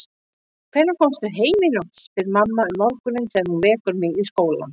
Hvenær komstu heim í nótt, spyr mamma um morguninn þegar hún vekur mig í skólann.